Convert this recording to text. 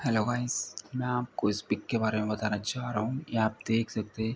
hello guys मैं आपको इस पिक के बारे में बताने जा रहा हूँ ये आप देख सकते --